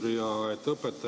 Suur tänu, härra eesistuja!